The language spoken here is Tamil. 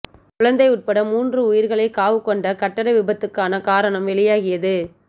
குழந்தை உட்பட மூன்று உயிர்களைக் காவுகொண்ட கட்டட விபத்துக்கான காரணம் வெளியாகியது